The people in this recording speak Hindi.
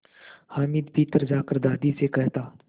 हामिद भीतर जाकर दादी से कहता